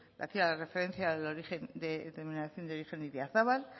hacía la referencia de la denominación de origen idiazabal